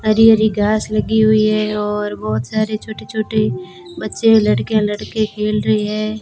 हरी हरी घास लगी हुई है और बहोत सारे छोटे छोटे बच्चे लड़कियां लड़के खेल रहे हैं।